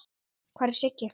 Hvar er Siggi?